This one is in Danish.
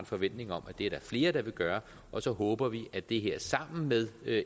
forventning om at det er der flere der vil gøre og så håber vi at det her sammen med